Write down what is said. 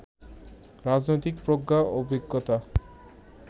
রাজনৈতিক প্রজ্ঞা, অভিজ্ঞতা,